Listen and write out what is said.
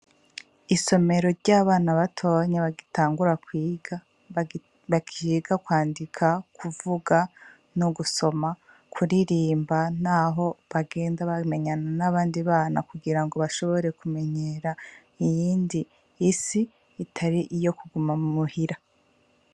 Isomero ry'abana batonye bagitangura kwiga bakiga kwandika kuvuga no gusoma kuririmba, naho bagenda bamenyana n'abandi bana kugira ngo bashobore kumenyera iyindi isi itari iyo kuguma mu muhira.